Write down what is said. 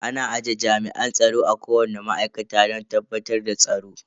Ana aje jami'an tsaro a kowani ma'aikata don tabbatar da tsaro.